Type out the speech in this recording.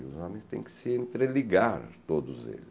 E os homens têm que se entreligar, todos eles.